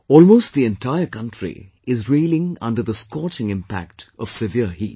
Almost the entire country is reeling under the scorching impact of severe heat